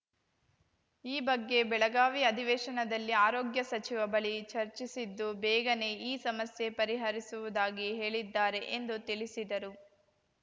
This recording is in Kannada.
ಈ ಬಗ್ಗೆ ಬೆಳಗಾವಿ ಅಧಿವೇಶನದಲ್ಲಿ ಆರೋಗ್ಯ ಸಚಿವ ಬಳಿ ಚರ್ಚಿಸಿದ್ದು ಬೇಗನೇ ಈ ಸಮಸ್ಯೆ ಪರಿಹರಿಸುವುದಾಗಿ ಹೇಳಿದ್ದಾರೆ ಎಂದು ತಿಳಿಸಿದರು